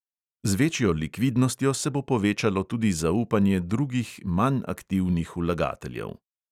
Z večjo likvidnostjo se bo povečalo tudi zaupanje drugih manj aktivnih vlagateljev.